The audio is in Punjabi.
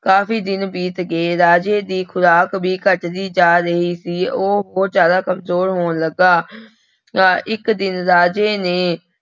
ਕਾਫ਼ੀ ਦਿਨ ਬੀਤ ਗਏ ਰਾਜੇ ਦੀ ਖੁਰਾਕ ਵੀ ਘੱਟਦੀ ਜਾ ਰਹੀ ਸੀ, ਉਹ ਬਹੁਤ ਜ਼ਿਆਦਾ ਕੰਮਜ਼ੋਰ ਹੋਣ ਲੱਗਾ ਇੱਕ ਦਿਨ ਰਾਜੇ ਨੇ